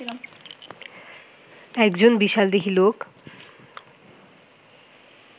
একজন বিশালদেহী লোক